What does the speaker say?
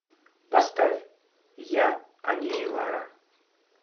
поставь я они и лара